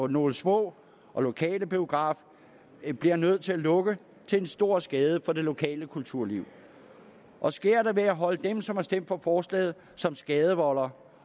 nogle små og lokale biografer bliver nødt til at lukke til stor skade for det lokale kulturliv og sker det vil jeg holde dem som har stemt for forslaget som skadevoldere